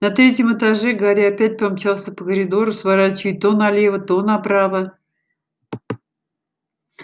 на третьем этаже гарри опять помчался по коридору сворачивая то налево то направо